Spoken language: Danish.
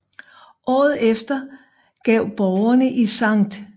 Året efter gav borgerne i St